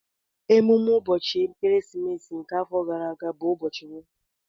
Emume ụbọchị ekeresimesi nke afọ gara aga bụ ụbọchị Mọnde